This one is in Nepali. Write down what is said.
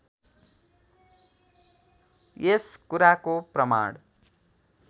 यस कुराको प्रमाण